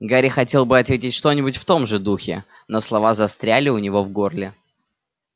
гарри хотел было ответить что-нибудь в том же духе но слова застряли у него в горле